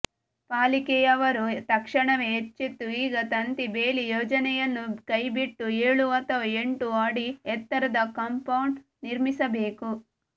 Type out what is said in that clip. ಪಾಲಿಕೆಯವರು ತಕ್ಷಣವೇ ಎಚ್ಚೆತ್ತು ಈ ತಂತಿ ಬೇಲಿ ಯೋಜನೆಯನ್ನು ಕೈಬಿಟ್ಟು ಏಳು ಅಥವಾ ಎಂಟು ಅಡಿ ಎತ್ತರದ ಕಾಂಪೌಂಡ್ ನಿರ್ಮಿಸಬೇಕು